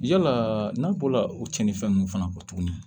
Yala n'a bɔla o tiɲɛnifɛn ninnu fana kɔ tuguni